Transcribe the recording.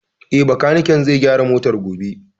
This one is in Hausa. Eh, Bakaniken zai gyara motar gobe